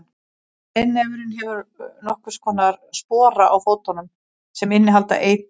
breiðnefurinn hefur nokkurs konar spora á fótunum sem innihalda eitur